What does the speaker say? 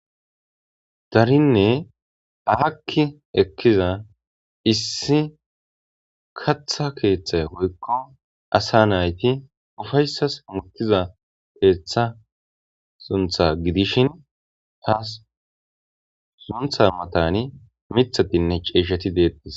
Darinne aaki ekkiza issi kaththa keththa woyikko asa nayththi ufayssa oththizza keththa sunththa giddishshen taasi sunththa maththani miththathinne c'ishshati bettes.